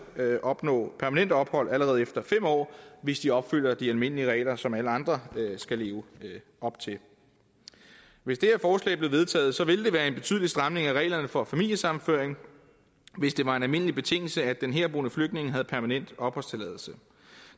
opnå permanent ophold allerede efter fem år hvis de opfylder de almindelige regler som alle andre skal leve op til hvis det her forslag blev vedtaget ville det være en betydelig stramning af reglerne for familiesammenføring hvis det var en almindelig betingelse at den herboende flygtning havde permanent opholdstilladelse